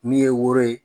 Min ye woro ye